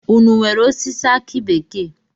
Ụnụ nwèrè osisi aki bekee?